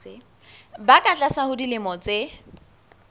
ba ka tlasa dilemo tse